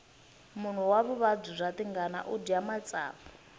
munhu wa vuvabyi bya tingana udya matsavu